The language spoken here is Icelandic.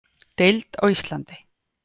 Deild á Íslandi.